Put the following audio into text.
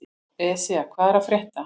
Esja, hvað er að frétta?